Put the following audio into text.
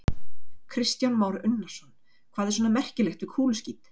Kristján Már Unnarsson: Hvað er svona merkilegt við kúluskít?